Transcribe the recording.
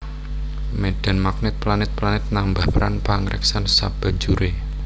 Médhan magnèt planèt planèt nambah peran pangreksan sabanjuré